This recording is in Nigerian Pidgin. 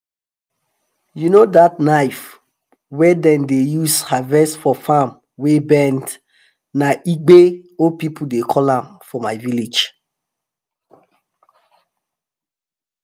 you know that knife wey dem dey use harvest for farm wey bend na "egbe" old people dey call am for my village.